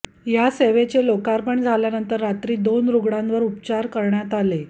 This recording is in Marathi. या सेवेचे लोकार्पण झाल्यानंतर रात्री दोन रुग्णांवर उपचार करण्यात आले